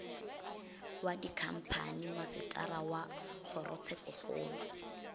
wa dikhamphani masetara wa kgorotshekokgolo